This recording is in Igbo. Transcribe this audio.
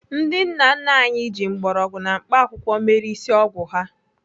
Ndị nna nna anyị ji mgbọrọgwụ na mkpaakwụkwọ mere ịsị ọgwụ ha.